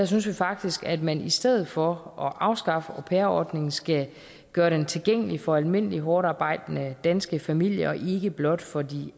synes vi faktisk at man i stedet for at afskaffe au pair ordningen skal gøre den tilgængelig for almindelige hårdtarbejdende danske familier og ikke blot for de